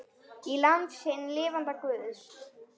Í landi hins lifanda guðs.